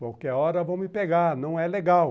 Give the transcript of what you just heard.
Qualquer hora vão me pegar, não é legal.